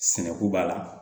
Sɛnɛko b'a la